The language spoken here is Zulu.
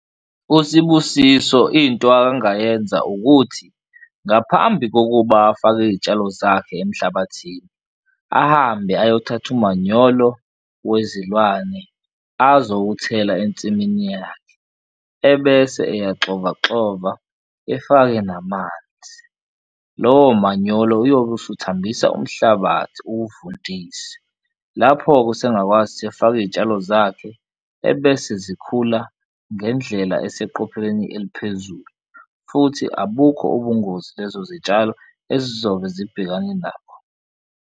USibusiso into akangayenza ukuthi ngaphambi kokuba afake iy'tshalo zakhe emhlabathini ahambe ayothatha umanyolo wezilwane azowuthela ensimini yakhe, ebese eyaxovaxova efake namanzi, lowo manyolo uyobe usuthambisa umhlabathi uvundise. Lapho-ke usengakwazi ukuthi efake izitshalo zakhe ebese zikhula ngendlela eseqophelweni eliphezulu futhi abukho ubungozi lezo zitshalo ezizobe zibhekane nakho.